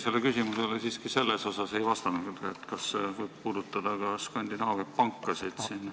Te ei vastanud siiski eelmise küsimuse sellele osale, kas see võib puudutada ka siinseid Skandinaavia pankasid.